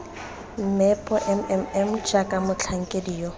meepo mmm jaaka motlhankedi yo